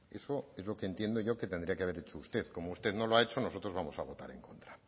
eso es lo que entiendo yo que tendría que haber hecho usted como usted no lo ha hecho nosotros vamos a votar en contra